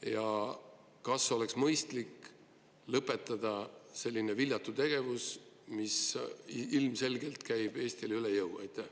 Ja kas oleks mõistlik lõpetada selline viljatu tegevus, mis ilmselgelt käib Eestile üle jõu?